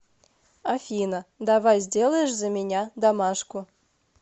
афина давай сделаешь за меня домашку